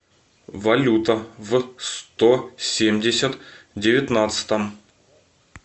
валюта в сто семьдесят девятнадцатом